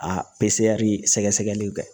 A sɛgɛsɛgɛliw kɛ